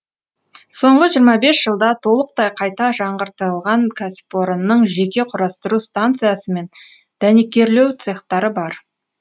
соңғы жиырма бес жылда толықтай қайта жаңғыртылған кәсіпорынның жеке құрастыру станциясы мен дәнекерлеу цехтары бар